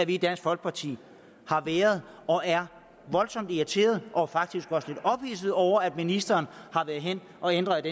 i dansk folkeparti har været og er voldsomt irriterede og faktisk også lidt ophidsede over at ministeren har ændret